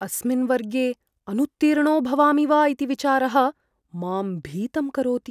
अस्मिन् वर्गे अनुत्तीर्णो भवामि वा इति विचारः मां भीतं करोति।